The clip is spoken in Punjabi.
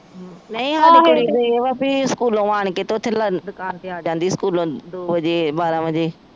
ਨਹੀਂ ਸਾਡੀ ਕੁੜੀ ਵੀ ਸਕੂਲੋ ਆਣ ਕੇ ਤੇ ਉਥੇ ਦਕਾਨ ਤੇ ਆ ਜਾਂਦੀ ਸਕੂਲੋ ਦੋ ਵਜੇ ਬਾਰਾਹ ਵਜੇ